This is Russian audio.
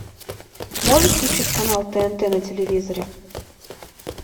можешь включить канал тнт на телевизоре